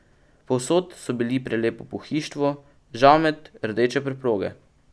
Povsod so bili prelepo pohištvo, žamet, rdeče preproge.